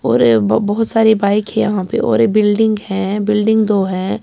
.اور ب بہت سارے بکے ہیں یحیٰ پی اور بلڈنگ ہیں ببیلڈنگ ہیں دو یہا پی